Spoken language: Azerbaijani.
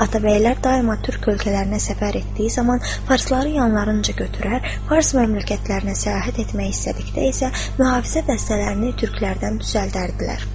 Atabəylər daima türk ölkələrinə səfər etdiyi zaman farsları yanlarınca götürər, fars məmləkətlərinə səyahət etmək istədikdə isə mühafizə dəstələrini türklərdən düzəldərdilər.